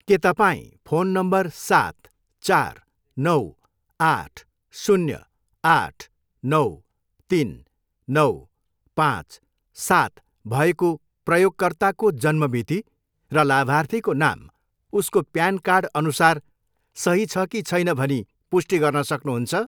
के तपाईँ phone number सात, चार, नौ, आठ, शून्य, आठ, नौ, तिन, नौ, पाँच, सात भएको प्रयोगकर्ताको जन्म मिति र लाभार्थीको नाम उसको प्यान कार्ड अनुसार सही छ कि छैन भनी पुष्टि गर्न सक्नुहुन्छ?